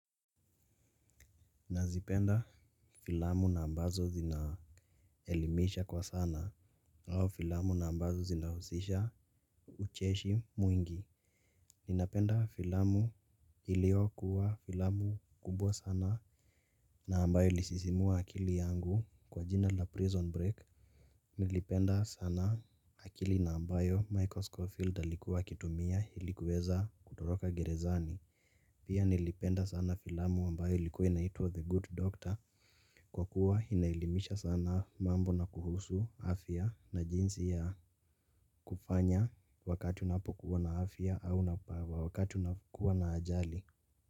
Nazipenda filamu na ambazo zinaelimisha kwa sana au filamu na ambazo zinahusisha ucheshi mwingi. Ninapenda filamu iliyokuwa filamu kubwa sana. Na ambayo ilisisimua akili yangu kwa jina la prison break. Nilipenda sana akili na ambayo Michael Schofield alikuwa akitumia ili kuweza kutoroka gerezani. Pia nilipenda sana filamu ambayo ilikuwa inaitwa The Good Doctor. Kwa kuwa inaelimisha sana mambo na kuhusu afya na jinsi ya kufanya wakati unapokuwa na afya au wakati unakuwa na ajali.